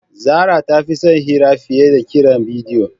Zara ta fi son yin hira fiye da kiran bidiyo.